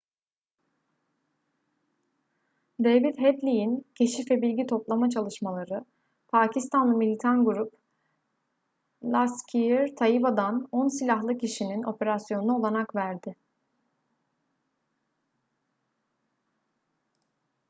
david headley'in keşif ve bilgi toplama çalışmaları pakistanlı militan grup laskhar-e-taiba'dan 10 silahlı kişinin operasyonuna olanak verdi